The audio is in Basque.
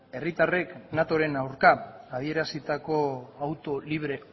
herritarrek natoren aurka adierazitako auto libre